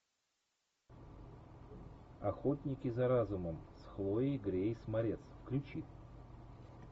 охотники за разумом с хлоей грейс морец включи